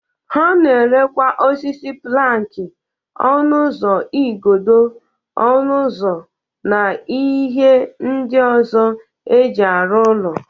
Ha na-erekwa osisi planki, ọnụ ụzọ, igodo ọnụ ụzọ, na ihe ndị ọzọ e jị arụ ụlọ.